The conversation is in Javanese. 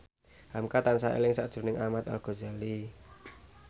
hamka tansah eling sakjroning Ahmad Al Ghazali